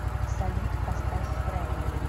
салют поставь фредо